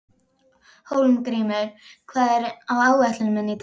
Hólmgrímur, hvað er á áætluninni minni í dag?